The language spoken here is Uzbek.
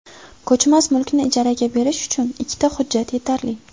Ko‘chmas mulkni ijaraga berish uchun ikkita hujjat yetarli.